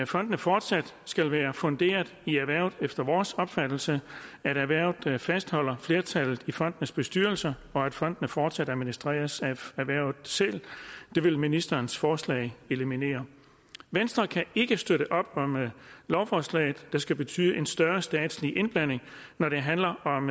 fondene fortsat skal være funderet i erhvervet efter vores opfattelse at erhvervet fastholder flertallet i fondenes bestyrelser og at fondene fortsat administreres af erhvervet selv det vil ministerens forslag eliminere venstre kan ikke støtte op om lovforslaget der skal betyde en større statslig indblanding når det handler om